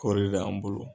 Kɔri de la an bolo